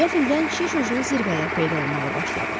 Qəflətən şiş uclu zirvələr peyda olmağa başladı.